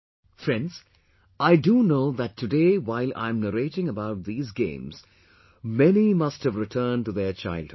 Friends, I do know that today while I'm narrating about these games many must have returned to their childhood